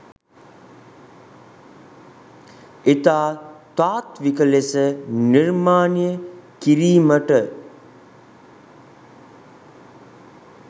ඉතා තාත්ත්වික ලෙස නිර්මාණය කිරීමට